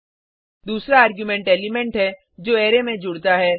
दूसरा argument element है जो अरै में जुड़ता है